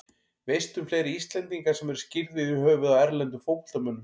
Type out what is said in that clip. Veistu um fleiri Íslendinga sem eru skírðir í höfuðið á erlendum fótboltamönnum?